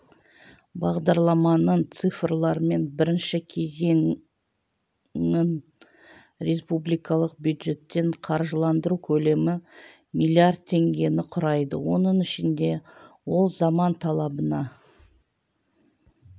бағдарламаның цифрлармен бірінші кезеңін республикалық бюджеттен қаржыландыру көлемі млрд теңгені құрайды оның ішінде ол заман талабына